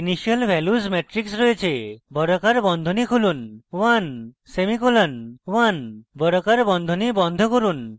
initial values matrix রয়েছে বর্গাকার বন্ধনী খুলুন 1 সেমিকোলন 1 বর্গাকার বন্ধনী বন্ধ করুন